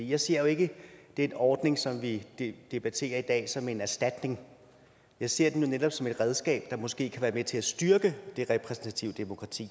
jeg ser jo ikke den ordning som vi debatterer i dag som en erstatning jeg ser den netop som et redskab der måske kan være med til at styrke det repræsentative demokrati